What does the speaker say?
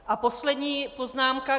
A poslední poznámka.